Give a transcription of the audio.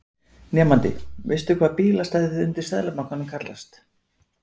Nemandi: Veistu hvað bílastæðið undir Seðlabankanum kallast?